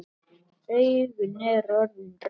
Augun eru orðin rauð.